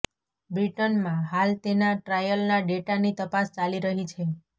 બ્રિટનમાં હાલ તેના ટ્રાયલના ડેટાની તપાસ ચાલી રહી છે